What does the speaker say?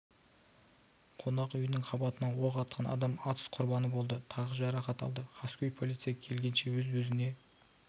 қонақ үйінің қабатынан оқ атқан адам атысқұрбаны болды тағы жарақат алды қаскөй полиция келгенше өз-өзіне